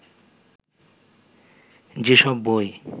যেসব বই